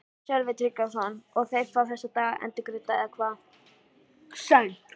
Sölvi Tryggvason: Og þeir fá þessa daga endurgreidda eða hvað?